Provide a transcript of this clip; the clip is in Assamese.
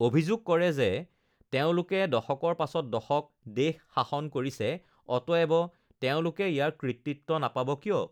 অভিযোগ কৰে যে, তেওঁলোকে দশকৰ পাছত দশক দেশ শাসন কৰিছে, অতএব, তেওঁলোকে ইয়াৰ কৃতিত্ব নাপাব কিয়?